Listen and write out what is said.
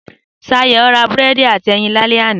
Sayọ̀ ra búrẹ́dì áti ẹyin lálẹ́ àná.